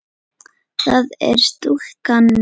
það er stúlkan mín.